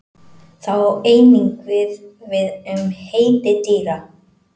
Það á einnig við við um heiti dýra.